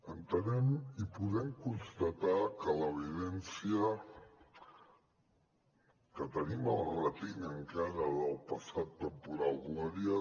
entenem i podem constatar que l’evidència que tenim a la retina encara del passat temporal gloria